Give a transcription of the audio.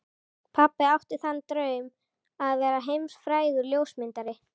Pabbi átti sér þann draum að verða heimsfrægur ljósmyndari.